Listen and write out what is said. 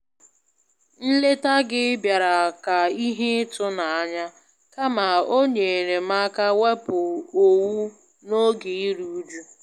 Nleta gị bịara ka ihe ịtụ n'anya, kama o nyeere m aka wepụ owu n'oge iru uju